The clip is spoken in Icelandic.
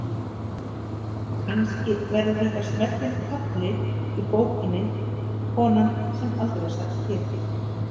Kannski verður þetta smellinn kafli í bókinni: konan sem aldrei sat kyrr.